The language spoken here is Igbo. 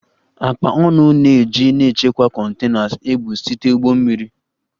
Akpa ọnụ na-eji na-echekwa containers ebu site ụgbọ mmiri